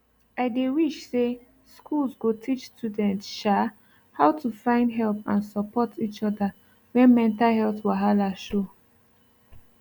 i dey wish say schools go teach students um how to find help and support each other when mental health wahala show